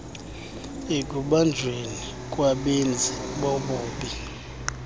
ekubanjweni kwabenzi bobubi